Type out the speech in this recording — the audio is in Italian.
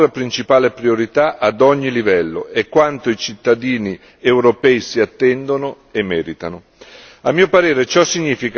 Questa deve rimanere la nostra principale priorità ad ogni livello ed è quanto i cittadini europei si attendono e meritano.